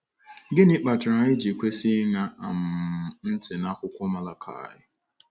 Gịnị kpatara anyị ji kwesị ịṅa um ntị n’akwụkwọ Malakaị?